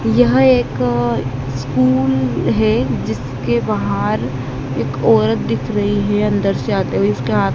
यह एक स्कूल है जिसके बाहर एक औरत दिख रही है अंदर से आते हुए इसका--